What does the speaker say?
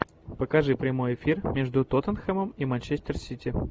покажи прямой эфир между тоттенхэмом и манчестер сити